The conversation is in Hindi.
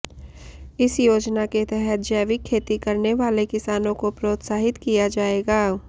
इस योजना के तहत जैविक खेती करने वाले किसानों को प्रोत्साहित किया जाएगा